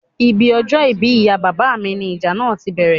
Ibi ọjọ́ ìbí ìyá bàbá mi ní ìjà náà tí bẹ̀rẹ̀